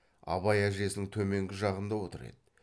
абай әжесінің төменгі жағыңда отыр еді